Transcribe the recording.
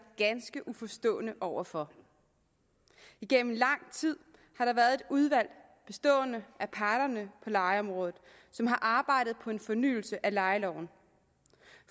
ganske uforstående over for igennem lang tid har der været et udvalg bestående af parterne på lejeområdet som har arbejdet på en fornyelse af lejeloven